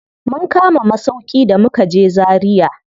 Mun kama masauƙi da mukaje Zaria.